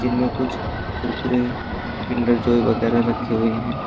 जिनमें कुछ Kurkure Kinder Joy वगैरा रखे हुए हैं।